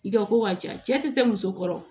I ka ko ka ca cɛ tɛ se muso kɔrɔ